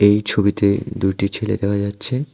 এই ছবিতে দু'টি ছেলে দেখা যাচ্ছে।